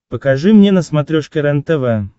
покажи мне на смотрешке рентв